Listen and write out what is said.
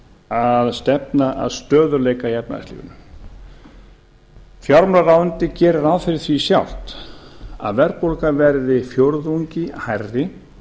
að stefna að stöðugleika í efnahagslífinu fjármálaráðuneytið gerir ráð fyrir því sjálft að verðbólgan verði fjórðungi hærri